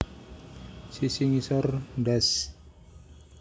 Sisi ngisor ndas